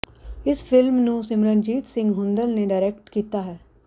ਇਸ ਫਿਲਮ ਨੂੰ ਸਿਮਰਨਜੀਤ ਸਿੰਘ ਹੁੰਦਲ ਨੇ ਡਾਇਰੈਕਟ ਕੀਤਾ ਹੈ